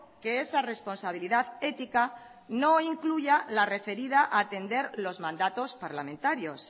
que esa responsabilidad ética no incluya la referida a atender los mandatos parlamentarios